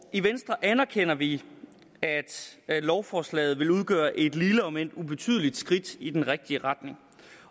i venstre anerkender vi at lovforslaget vil udgøre et lille om end ubetydeligt skridt i den rigtige retning